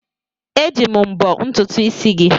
Eji m mbọ́ ntutu isi gị.